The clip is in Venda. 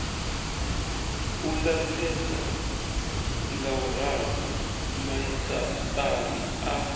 u lapfesa ngauralo maisaṱari a